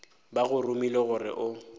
ba go romile gore o